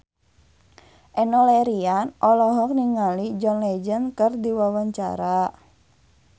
Enno Lerian olohok ningali John Legend keur diwawancara